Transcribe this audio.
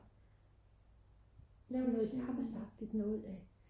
de laver noget tapasagtigt noget